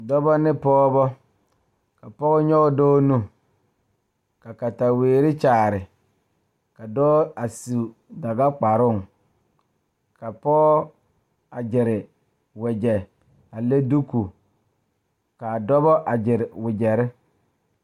Dɔɔba ne Pɔgeba kaa pɔge nyoŋ dɔɔ nu ka katawiɛ Kyaara ka dɔɔ a su dagakparo ka pɔge a gyere wagye a le kodo kaa dɔɔba a gyere wagyere.